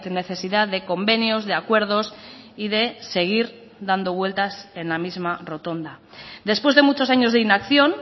necesidad de convenios de acuerdos y de seguir dando vueltas en la misma rotonda después de muchos años de inacción